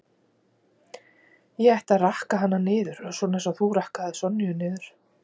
Ég ætti að rakka hana niður, svona eins og þú rakkaðir Sonju niður